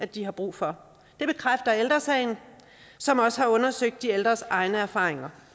de har brug for det bekræfter ældre sagen som også har undersøgt de ældres egne erfaringer